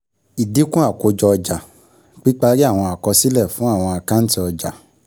Ìdínkù Àkójọ Ọjà, píparí àwọn àkọsílẹ̀ fún àwọn àkáǹtì ọjà.